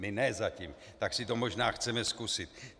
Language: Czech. My ne zatím, tak si to možná chceme zkusit.